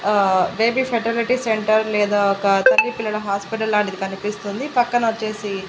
ఆ baby fertility centre లేదా ఒక చంటి పిల్లల హాస్పిటల్ లాంటిది కనిపిస్తుంది పక్కనొచ్చేసి--